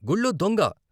గుళ్ళో దొంగ....